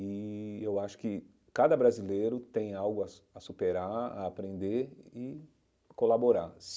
E eu acho que cada brasileiro tem algo a su a superar, a aprender e colaborar.